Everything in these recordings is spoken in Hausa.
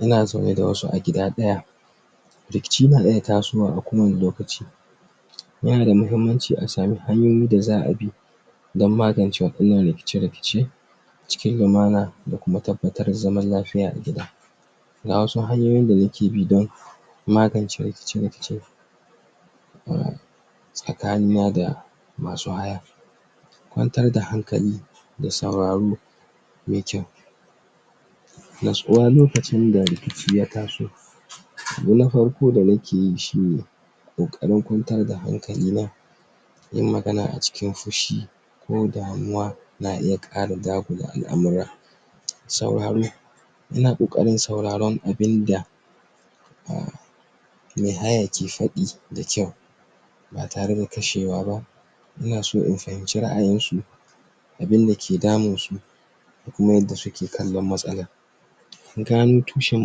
Ina zaune da wasu a gida daya Rikici na iya tasowa a kowane lokaci Yanada mahimmaci asan hanyoyi daza'a bi, Don magance wadannan rikice rikice Cikin lamana da kuma tabbatar da zaman lafiya a gida Ga wasu hanyoyi da muke bi don, Magance rikice rikice Tsakani nada Masu haya Kwantar da hankali Ta sauraro Natsuwa lokacin da rikici ya taso Abu na farko da nakeyi shine Kokarin kwantar da hankali na Yin magana a cikin fushi Na iya Ƙara dakula al'amarin Sauraro, Ina Ƙoakarin sauraron abinda Umm Mai haya ke faɗi da kwau Ba tare da kashewa bah Inaso in fahimci ra'ayinshi Abunda ke damun shi kan matsala In gano tushen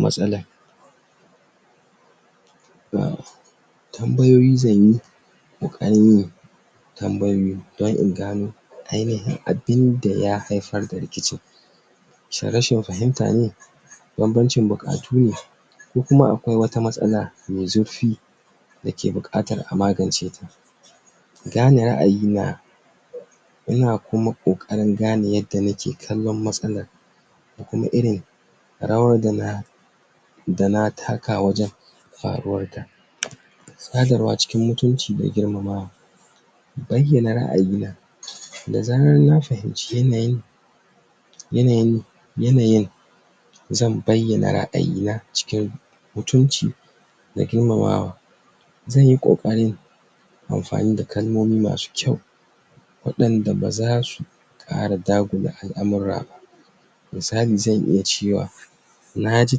matsalar Umm Tambayoyi zanyi Zanyi don in gano, Ainayin abinda ya haifar da rikicin Shin rashin fahimta ne Baban cin bukatu ne Ko kuma akwai wata matsala Mai zurfi Dake bukatar a magance ta Gane ra'ayi na Ina kuma kokarin gane yadda nake kallon matsalar Ko kuma irin Rawa dana Dana taka wajen Haruwarta cikin mutunci da girmamawa Baiyana ra'ayi na Da zaran na fayimci Yanayin Yanayin, Zan baiyana ra'ayi na cikin, Mutunci Da girmamawa Zanyi kokarin Amfani da kalmomi masu kwau Wadanda bazasu ƙara dagula al'amura ba Misali zan iya cewa Naji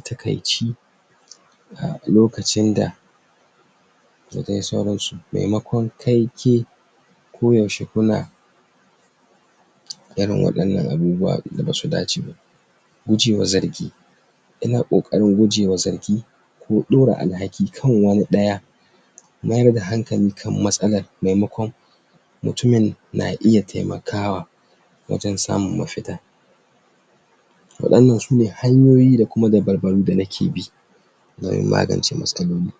takaici Lokacin da Dadai sauransu maimakon kai, ke Ko yaushe kuma wadannan abubuwa basu dace ba Miji ya zargi Ina ƙokarin gujewa zargi Ko ɗora al'haki kan wani ɗa Mayar da hankali kan matsalar Maimakon Mutum na iya taimakawa Wajen samun mafita Wannan sune yanyoyi da kuma dabaru da nake bi. Wurin magance matsaloli